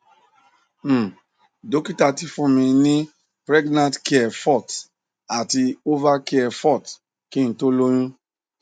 um dokita ti fún mi ní pregnacare forte àti ovacare forte kí n tó lóyún